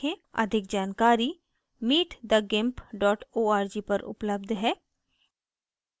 अधिक जानकारी